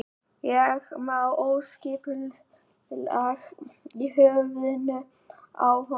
Það er smá óskipulag í höfðinu á honum.